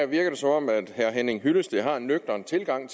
virker det som om herre henning hyllested har en nøgtern tilgang